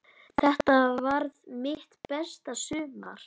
Þetta varð mitt besta sumar.